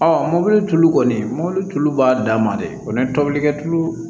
mɔbili tulu kɔni mɔli tulu b'a dan ma dɛ o ni tobilikɛ tulu